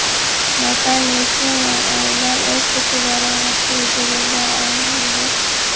Natalya Shuman: Oilamiz o‘rtacha daromadga ega bo‘lgan oila edi.